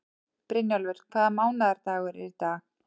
Brynjólfur, hvaða mánaðardagur er í dag?